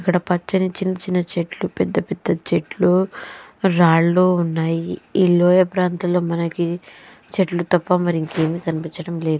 ఇక్కడ పచ్చని చిన్న చిన్న చెట్లు పెద్ద పెద్ద చెట్లు రాళ్లు ఉన్నాయి ఈ లోయ ప్రాంతంలో మనకి చెట్లు తప్ప మరి ఇంకా ఏమి కన్పించడంలేదు.